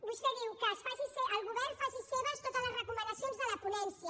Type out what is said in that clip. vostè diu que el govern faci seves totes les recomanacions de la ponència